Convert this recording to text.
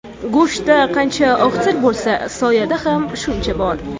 Go‘shtda qancha oqsil bo‘lsa, soyada ham shuncha bor.